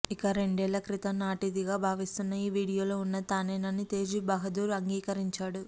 ఇక రెండేళ్ల క్రితం నాటిదిగా భావిస్తున్న ఈ వీడియోలో ఉన్నది తానేనని తేజ్ బహదూర్ అంగీకరించాడు